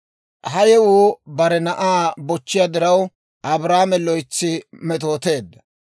Ha yewuu bare na'aa bochchiyaa diraw, Abrahaame loytsi metooteedda.